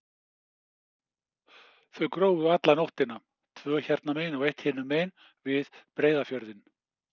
Þau grófu alla nóttina, tvö hérna megin og eitt hinum megin, við Breiðafjörðinn.